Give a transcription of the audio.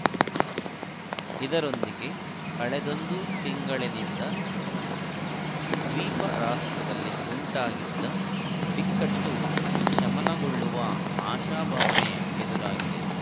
ಇದರೊಂದಿಗೆ ಕಳೆದೊಂದು ತಿಂಗಳನಿಂದ ದ್ವೀಪ ರಾಷ್ಟ್ರದಲ್ಲಿ ಉಂಟಾಗಿದ್ದ ಬಿಕ್ಕಟ್ಟು ಶಮನಗೊಳ್ಳುವ ಆಶಾಭಾವನೆ ಎದುರಾಗಿದೆ